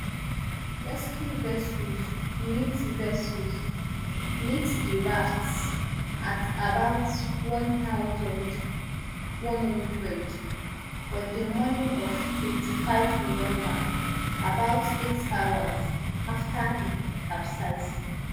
rescue vessels meet vessels meet di rafts at about one thousand, one hundred on di morning of twenty-five november about eight hours afta e capsize